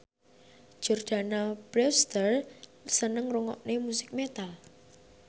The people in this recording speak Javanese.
Jordana Brewster seneng ngrungokne musik metal